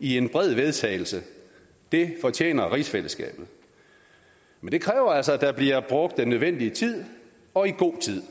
i en bred vedtagelse det fortjener rigsfællesskabet men det kræver altså at der bliver brugt den nødvendige tid og i god tid